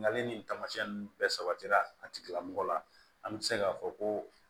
Nali nin taamasiyɛn nunnu bɛɛ sabatira a tigilamɔgɔ la an be se k'a fɔ ko